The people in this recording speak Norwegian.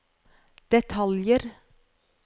detaljer